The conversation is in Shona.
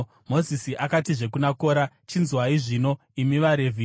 Mozisi akatizve kuna Kora, “Chinzwai zvino, imi vaRevhi!